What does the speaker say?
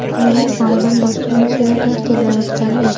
Mening oilam boshqa mashinada kelayotgan edi.